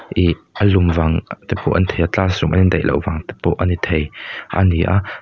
ihh a lum vang te pawh a ni thei a classroom a indaih loh vang te pawh ani thei ani a.